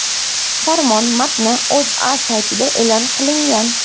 Farmon matni O‘zA saytida e’lon qilingan .